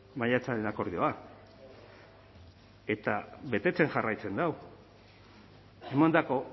maiatzaren akordioa eta betetzen jarraitzen dau emandako